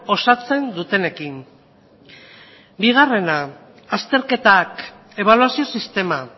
osatzen dutenekin bigarrena azterketak ebaluazio sistema